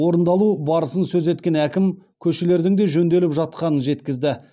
орындалу барысын сөз еткен әкім көшелердің де жөнделіп жатқанын жеткізді